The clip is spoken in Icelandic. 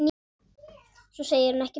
Svo segir hún ekkert meir.